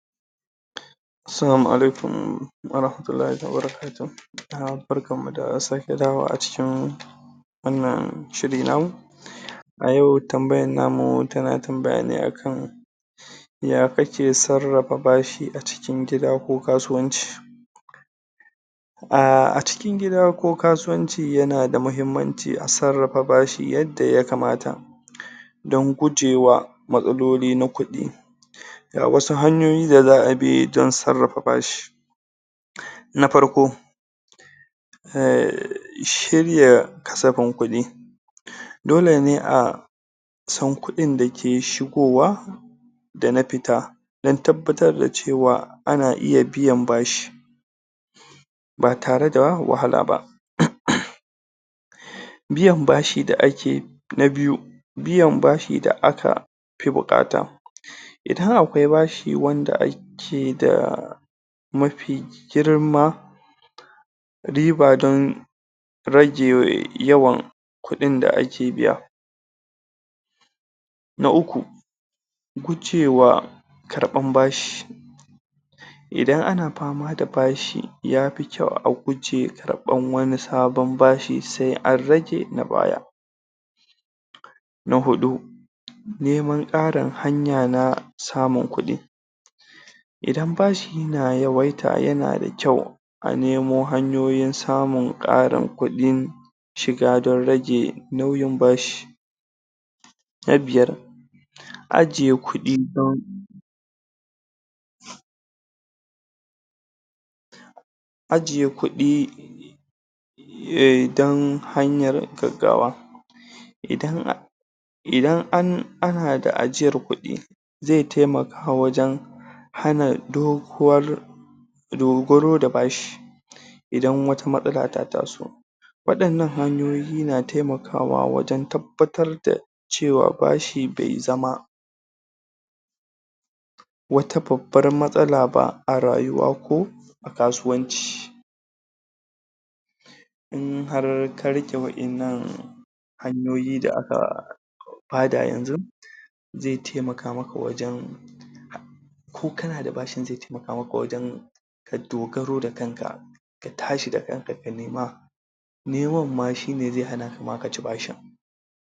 salamu alikum wa rahmatullahi wa barakatahu 'yan uwa barkan mu da sake dawowa a cikin wannan shiri namu a yau tambayar namu tana tambaya ne a kan ya kake sarrafa bashi a cikin gida ko kasuwanci a cikin gida ko kasuwanci yana da muhimmanci a sarrafa bashi yadda yakamata don gujewa matsaloli na kudi ga wasu hanyoyi da za a bi don sarrafa bashi na farko shirya kasafin kudi dole ne a a san kuɗin da ke shigowa da na fita don tabbatar da cewa a na iya biyan bashi ba tare da wahala ba, biyan bashi da a ke na biyu biyan bashi da a ka fi buƙata idan akwai bashi wanda a ke da mafi girma riba don rage yawan kuɗin da ake biya, na uku gujewa karɓan bashi idan a na fama da bashi ya fi kyau a gujewa karɓan wani sabon bashi sai an rage na baya, na huɗu neman ƙarin hanya na samun kuɗi idan bashi na yawaita yana da kyau a nemo hanyoyin samun ƙarin kudi shiga don rage nauyin bashi, na biyar ajiye kuɗi don ajiye kuɗi don hanyar gaggawa idan a idan an idan a na da ajiyar kudi zai taimaka wajen hana doguwan dogaro da bashi idan wata matsala ta taso waɗannan hanyoyi na taimakawa wajen tabbatar da cewa bashi bai zama wata babbar matsala ba a rayuwa ko a kasuwanci in har ka riƙe wadannan hanyoyi da a ka bada yanzun zai taimaka maka wajen ko kana da bashin zai taimaka wajen dogaro da kan ka ka tashi da kanka ka nema neman ma shine zai hanaka ma ka ci bashin.